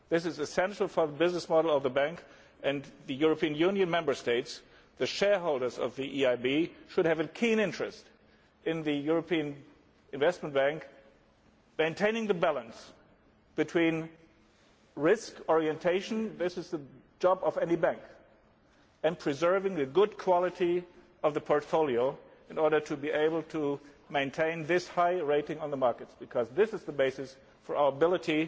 This is essential for the business model of the Bank and the European Union Member States. The shareholders of the EIB should have a keen interest in the European Investment Bank, maintaining the balance and this is the job of any bank between risk orientation and preserving the good quality of the portfolio, in order to be able to maintain a high rating on the market, because that is the basis for our ability